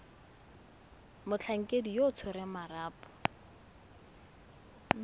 motlhankedi yo o tshwereng marapo